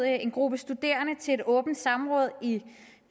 en gruppe studerende til et åbent samråd i